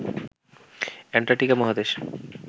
Antarctica মহাদেশ